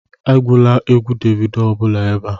Egwula egwu Davido ọ bụla ebe a